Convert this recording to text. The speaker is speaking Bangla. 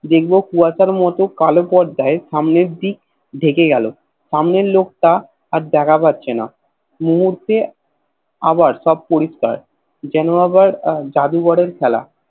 দেখবো কুয়াশার মতো কালো পথ যায় সামনের দিক ঢেকে গেল সামনের লোকটা আর দেখা পাচ্ছেনা মুহূর্তে আবার সব পরিষ্কার যেন আবার জাদুগরের খেলা